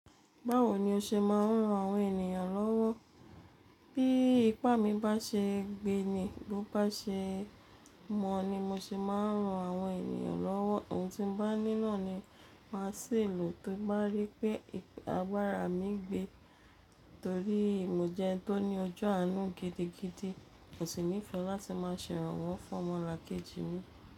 Báwo ni o ṣe máa ń ran àwọn ènìyàn lọ́wọ́? Bí ipá mi bá ṣe ń gbé ni, bí ó bá ṣe mọ̀ ni mo ṣe máa ń ran àwọn ènìyàn lọ́wọ́. Oun tí mo bá níná ni màá ṣi lò tin bá rí pé agbára mi gbé. Nítorí mo jẹ́ ẹni tó ní ọjọ́ àánú gidigidi. Mò sì nífẹ̀ẹ́ láti máa ṣèrànwọ́ fún ọmọlàkejì mi.